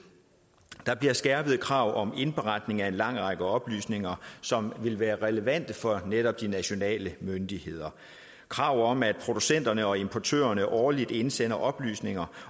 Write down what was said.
der bliver skærpede krav om indberetning af en lang række oplysninger som vil være relevante for netop de nationale myndigheder krav om at producenterne og importørerne årligt indsender oplysninger